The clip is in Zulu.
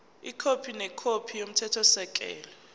ikhophi nekhophi yomthethosisekelo